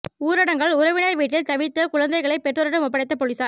ஊரடங்கால் உறவினா் வீட்டில் தவித்த குழந்தைகளை பெற்றோரிடம் ஒப்படைத்த போலீஸாா்